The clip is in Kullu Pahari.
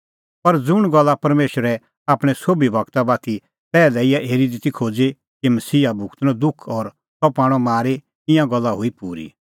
पर ज़ुंण गल्ला परमेशरै आपणैं सोभी गूरा बाती पैहलै ई हेरी ती खोज़ी कि मसीहा भुगतणअ दुख और सह पाणअ मारी ईंयां गल्ला हुई पूरी